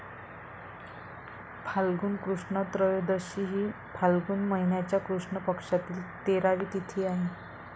फाल्गुन कृष्ण त्रयोदशी ही फाल्गुन माहिन्याच्या कृष्ण पक्षातील तेरावी तिथी आहे.